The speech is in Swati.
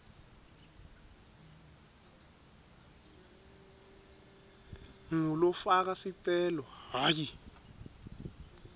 ngulofaka sicelo hhayi